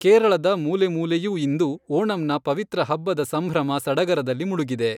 ಕೇರಳದ ಮೂಲೆ ಮೂಲೆಯೂ ಇಂದು ಓಣಂನ ಪವಿತ್ರ ಹಬ್ಬದ ಸಂಭ್ರಮ ಸಡಗರದಲ್ಲಿ ಮುಳುಗಿದೆ.